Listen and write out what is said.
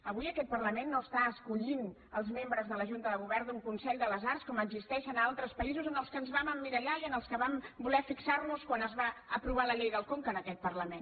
avui aquest parla·ment no està escollint els membres de la junta de go·vern d’un consell de les arts com existeix en altres països en els quals ens vam emmirallar i en els quals vam voler fixar·nos quan es va aprovar la llei del con·ca en aquest parlament